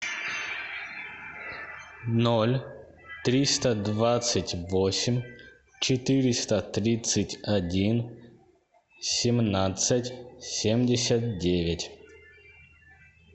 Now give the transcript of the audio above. ноль триста двадцать восемь четыреста тридцать один семнадцать семьдесят девять